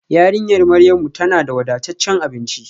Yarinyar Maryamu tana da wadataccen abinci